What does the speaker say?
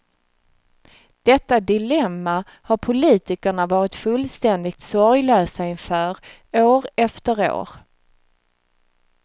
Detta dilemma har politikerna varit fullständigt sorglösa inför, år efter år.